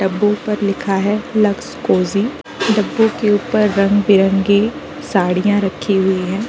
डब्बों पर लिखा है लक्स क्लोजिंग । डब्बों के ऊपर रंग-बिरंगी साड़ियाँ रखी हुई हैं।